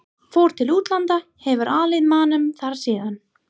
Fór til útlanda, hefur alið manninn þar síðan.